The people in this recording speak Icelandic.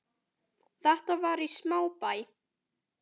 Þetta var í smábæ í